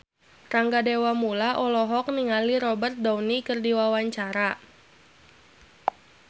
Rangga Dewamoela olohok ningali Robert Downey keur diwawancara